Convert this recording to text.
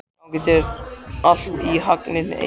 Gangi þér allt í haginn, Eir.